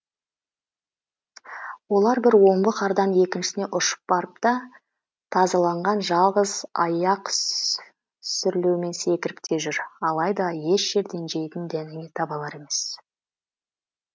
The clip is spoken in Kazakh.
олар бір омбы қардан екіншісіне ұшып барып та тазаланған жалғыз аяқ сүрлеумен секіріп те жүр алайда еш жерден жейтін дәнеңе таба алар емес